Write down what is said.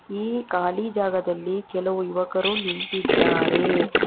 ಈ ಖಾಲಿ ಜಾಗದಲ್ಲಿ ಕೆಲವು ಯುವಕರು ನಿಂತಿದ್ದಾರೆ.